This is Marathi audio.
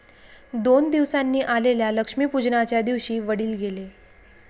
दोन दिवसांनी आलेल्या लक्ष्मीपूजनाच्या दिवशी वडील गेले.